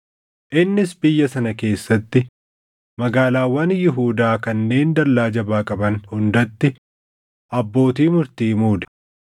Innis biyya sana keessatti magaalaawwan Yihuudaa kanneen dallaa jabaa qaban hundatti abbootii murtii muude.